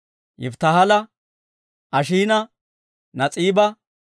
Yifittaaha, Ashiina, Nas'iiba,